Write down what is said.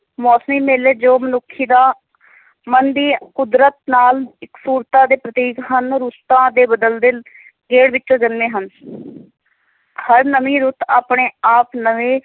ਮੋਸਮੀ ਮੇਲੇ, ਜੋ ਮਨੁੱਖੀ ਦਾ ਮਨ ਦੀ ਕੁਦਰਤ ਨਾਲ ਇਕਸੁਰਤਾ ਦੇ ਪ੍ਰਤੀਕ ਹਨ, ਰੁੱਤਾਂ ਦੇ ਬਦਲਦੇ ਗੇੜ ਵਿੱਚੋਂ ਜਨਮੇਂ ਹਨ ਹਰ ਨਵੀਂ ਰੁੱਤ ਆਪਣੇ ਆਪ ਨਵੇਂ,